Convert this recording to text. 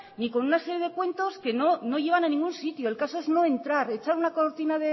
ni con una serie de cuentos que no llevan a ningún sitio el caso es no entrar echar una cortina